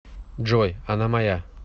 джой она моя